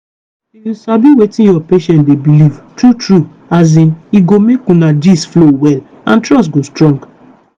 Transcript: if you sabi wetin your patient dey believe true true as in e go make una gist flow well and trust go strong.